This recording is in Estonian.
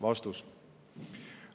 Vastus.